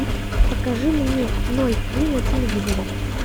покажи мне ноль три на телевизоре